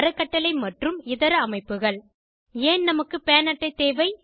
அறக்கட்டளை மற்றும் இதர அமைப்புகள் ஏன் நமக்கு பான் அட்டை தேவை